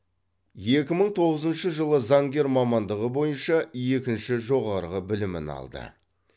екі мың тоғызыншы жылы заңгер мамандығы бойынша екінші жоғарғы білімін алды